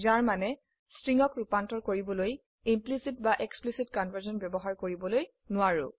যাৰ মানে স্ট্ৰিংক ৰুপান্তৰ কৰিবলৈ ইমপ্লিসিট বা এক্সপ্লিসিট কনভাৰ্সন ব্যবহাৰ কৰিব নোৱাৰো